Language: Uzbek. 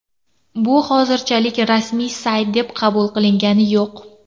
Bu hozirchalik rasmiy sayt deb qabul qilingani yo‘q.